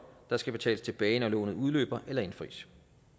der skal betales tilbage når lånet udløber eller indfries